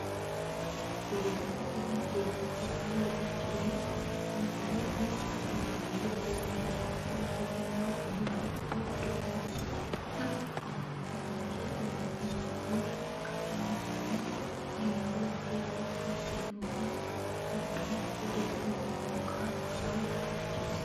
Biyyoota guddatan keessatti haalli ittiin fuduraalee fi kuduraaleen oomishaman xiqqoo ishee irraa bu'aa hedduu arganna. Akka fakkeenyaatti oomisha timaatimaa yoo kaafne, kunis firiiwwan hedduu kan kennuu fi gidduu utubduu mukaa baattus barbaachisa.